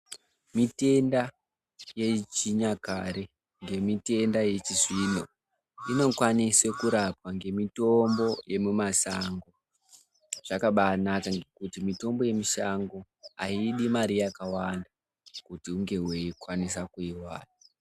Mitenda yechinyakare ngemitenda yechizvino inokwanise kurapwa ngemitombo yemimasango zvakabanaka ngekuti mitombo yemishango aidi mari yakawanda kuti unge weikwanisa kuiwana.